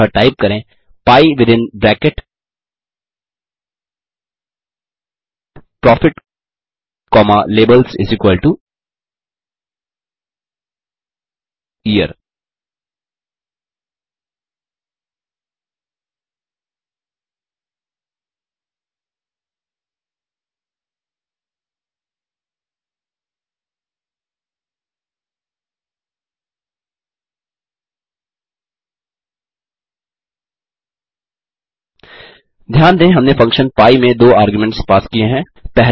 अतः टाइप करें pie within bracket profit comma labelsyear ध्यान दें हमने फंक्शन pie में दो आर्ग्यूमेंट्स पास किये हैं